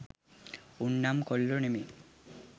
උන් නම් කොල්ලෝ නෙමෙයි